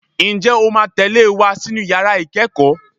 Ǹjẹ́ o máa tẹ̀lé e wá sínú yàrá ìkẹ́kọ̀ọ́?